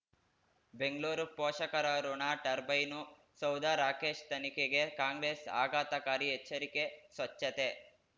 ಬೆಂಗ್ಳೂರು ಪೋಷಕರಋಣ ಟರ್ಬೈನು ಸೌಧ ರಾಕೇಶ್ ತನಿಖೆಗೆ ಕಾಂಗ್ರೆಸ್ ಆಘಾತಕಾರಿ ಎಚ್ಚರಿಕೆ ಸ್ವಚ್ಛತೆ